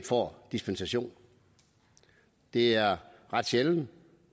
får dispensation det er ret sjældent